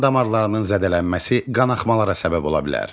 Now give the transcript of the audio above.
Qan damarlarının zədələnməsi qanaxmalara səbəb ola bilər.